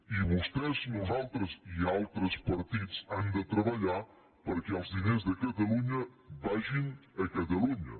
i vostès nosaltres i altres partits hem de treballar perquè els diners de catalunya vagin a catalunya